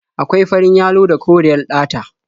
Akwai farin yalo da koriyar ɗata.